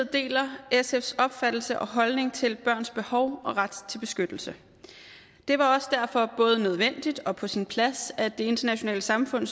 deler sfs opfattelse og holdning til børns behov og ret til beskyttelse det var også derfor både nødvendigt og på sin plads at det internationale samfund